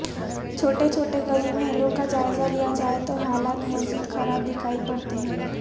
چھوٹے چھوٹے گلی محلوں کا جائزہ لیا جائے تو حالات مزید خراب دکھائی پڑتے ہیں